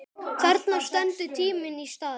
Þarna stendur tíminn í stað.